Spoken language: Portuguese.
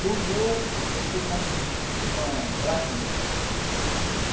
E, um dia, eu fiz uma traquinice.